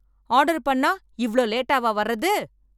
Order பண்ணா இவ்ளோ லேட்டாவா வர்றது?